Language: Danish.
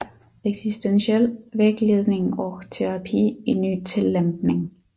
Existentiell vägledning och terapi i ny tillämpning